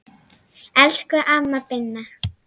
Elsku amma Binna.